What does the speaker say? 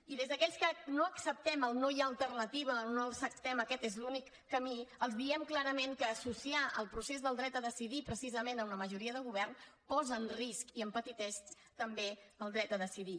i des d’aquells que no acceptem el no hi ha alternativa o no acceptem aquest és l’únic camí els diem clarament que associar el procés del dret a decidir precisament amb la majoria de govern posa en risc i empetiteix també el dret a decidir